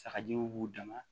Sagajiw b'u dama